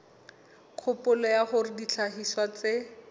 kgopolo ya hore dihlahiswa tse